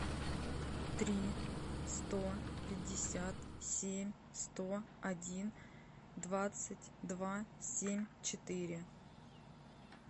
три сто пятьдесят семь сто один двадцать два семь четыре